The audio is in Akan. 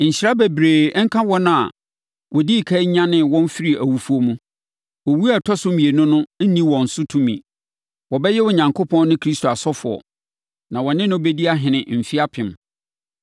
Nhyira bebree nka wɔn a wɔdii ɛkan nyanee wɔn firii awufoɔ mu. Owuo a ɛtɔ so mmienu no nni wɔn so tumi. Wɔbɛyɛ Onyankopɔn ne Kristo asɔfoɔ. Na wɔne no bɛdi ahene mfeɛ apem.